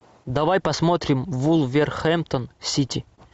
давай посмотрим вулверхэмптон сити